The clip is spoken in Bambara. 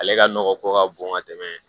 Ale ka nɔgɔ ko ka bon ka tɛmɛ